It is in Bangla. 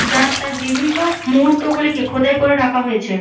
যাত্রার বিভিন্ন মুহূর্ত গুলিকে খোদাই করে রাখা হয়েছে।